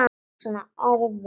Svona orð og orð.